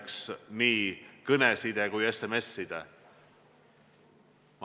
Peavad olema tagatud nii kõneside kui SMS-side.